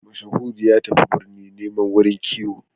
Mashahudu ya tafi birni nemo wurin kiwo